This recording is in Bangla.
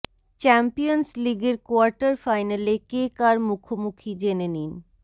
চ্যাম্পিয়ন্স লিগের কোয়ার্টার ফাইনালে কে কার মুখোমুখি জেনে নিন